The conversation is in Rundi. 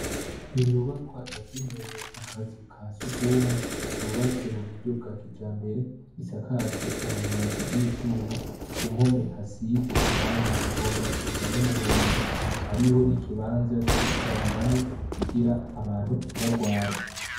Inyubakwa yagenewe akazu ka surwumwe, yubatse mu buryo bwa kijambere, isakajwe amabati y'ivyuma, ku mpome hasize irangi rigomba gusa n'umuhondo, hariho n'ikibanza co gukarabiramwo kugira abantu ntibagware.